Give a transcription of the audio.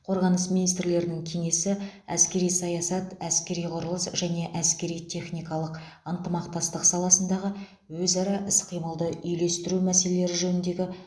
қорғаныс министрлерінің кеңесі әскери саясат әскери құрылыс және әскери техникалық ынтымақтастық саласындағы өзара іс қимылды үйлестіру мәселелері жөніндегі